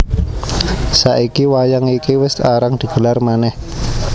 Saiki wayang iki wis arang digelar manèh